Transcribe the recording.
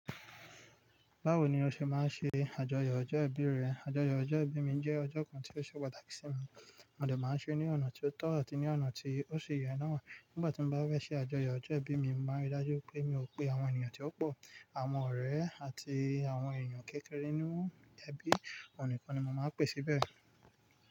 Báwo ni o ṣe máa ń ṣe àjọyọ̀ ọjọ́ ìbí rẹ? Àjọyọ̀ ọjọ́ ìbí mi jẹ́ ọjọ́ kan tí ó ṣe pàtàkì sí mi, mo dè máa ń ṣe ní ọ̀nà tí ó tọ́ àti ní ọ̀nà tí ó ṣe yè ná. Nígbà tí mo bá fẹ̀ ṣe àjọyọ̀ ọjọ́ ìbí mi, mo máa rí i dájú pé mi ò pe àwọn ènìyàn tí ó pọ̀, àwọn ọ̀rẹ́ àti àwọn ènìyàn kékeré níwọ́n. Ẹbí oníkan ni mo máa ń pè síbẹ̀